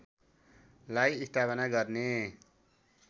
लाई स्थापना गर्ने